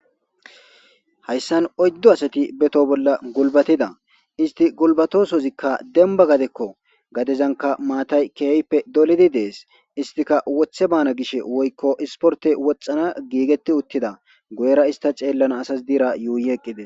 Ha sani oyddu asati ba toho bolla gulibatida isti gulinatosika demba gadeko gadezanika mathayi keehippe dolidi dees isstika gishe woykko issiporte woxana gishe giggeti utida guyere ista xeelanas guyera yuyii eqqida